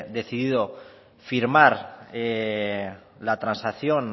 decidido firmar la transacción